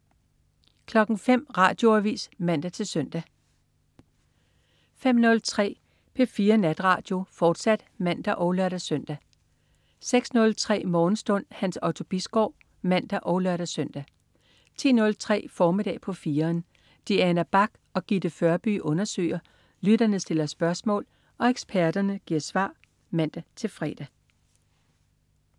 05.00 Radioavis (man-søn) 05.03 P4 Natradio, fortsat (man og lør-søn) 06.03 Morgenstund. Hans Otto Bisgaard (man og lør-søn) 10.03 Formiddag på 4'eren. Diana Bach og Gitte Førby undersøger, lytterne stiller spørgsmål og eksperterne giver svar (man-fre)